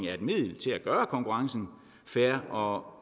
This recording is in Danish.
er et middel til at gøre konkurrencen fair og